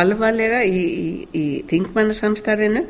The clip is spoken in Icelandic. alvarlega í þingmannasamstarfinu